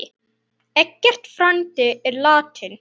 Eggert frændi er látinn.